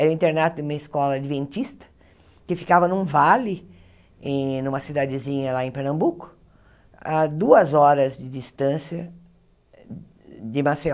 Era internato de uma escola adventista, que ficava num vale, em numa cidadezinha lá em Pernambuco, a duas horas de distância de Maceió.